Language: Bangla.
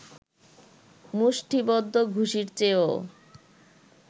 মুষ্টিবদ্ধ ঘুষির চেয়েও